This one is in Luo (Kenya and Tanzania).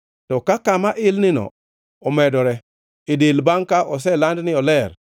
To ka kama ilnino omedore e del bangʼ ka oseland ni oler,